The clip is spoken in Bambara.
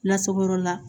Lasagoyɔrɔ la